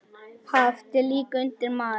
Haft er líka undir mat.